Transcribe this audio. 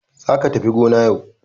Za ka tafi gona yau.